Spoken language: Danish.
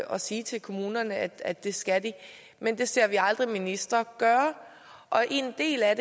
at sige til kommunerne at det skal de men det ser vi aldrig ministre gøre og en del af